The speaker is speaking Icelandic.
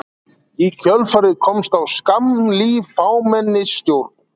Í kjölfarið komst á skammlíf fámennisstjórn.